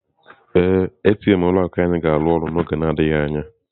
Ee, ATM ụlọ akụ anyị ga-arụ ọrụ n'oge adịghị anya.